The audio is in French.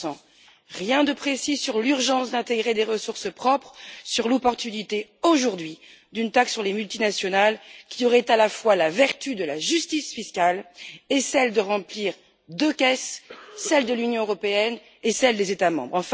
20 Rien de précis sur l'urgence d'intégrer des ressources propres, sur l'opportunité aujourd'hui d'une taxe sur les multinationales, qui aurait à la fois la vertu de la justice fiscale et celle de remplir deux caisses celle de l'Union européenne et celle des États membres.